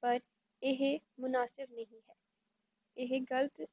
ਪਰ ਏਹ ਮੁਨਸੀਬ ਨਹੀਂ ਹੈ ਏਹੇ ਗਲਤ